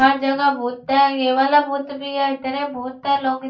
हर जगह भूत है ये वाला भूत भी है तेरे भूत है लोग --